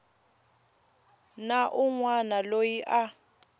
na un wana loyi a